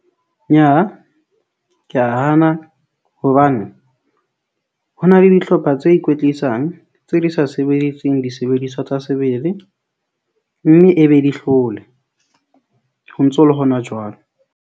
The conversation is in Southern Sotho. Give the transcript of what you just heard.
Nyaha ke a hana hobane ho na le dihlopha tse ikwetlisang tse di sa sebediseng disebediswa tsa sebele, mme e be di hlole ho ntso le hona jwalo.